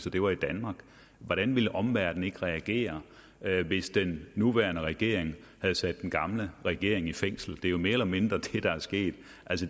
at det var i danmark hvordan ville omverdenen så ikke reagere hvis den nuværende regering havde sat den gamle regering i fængsel det er jo mere eller mindre det der er sket